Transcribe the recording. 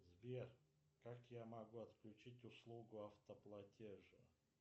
сбер как я могу отключить услугу автоплатежа